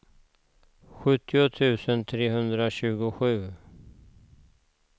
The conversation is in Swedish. sjuttio tusen trehundratjugosju